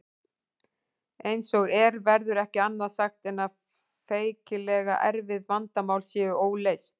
Eins og er verður ekki annað sagt en að feikilega erfið vandamál séu óleyst.